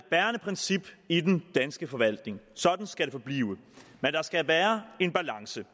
bærende princip i den danske forvaltning sådan skal det forblive men der skal være en balance